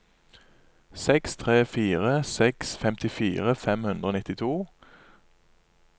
seks tre fire seks femtifire fem hundre og nittito